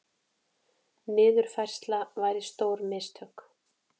Niðurfærsla væri stór mistök